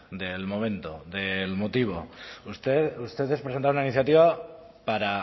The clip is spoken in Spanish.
del momento del motivo ustedes presentaron una iniciativa para